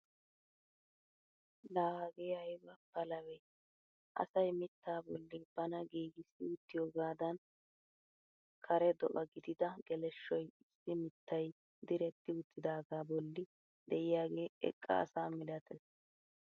La hagee ayba palabee! asay mittaa bolli bana giigissi uttiyoogadan kare do'a gidida geleshoy issi mittay diretti uttidagaa bolli de'iyaage eqqa asa milatees!